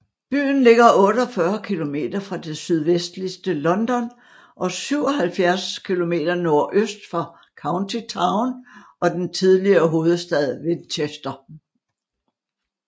Byen ligger 48 km fra det sydvestlige London og 77 km nordøst for county town og den tidligere hovedstad Winchester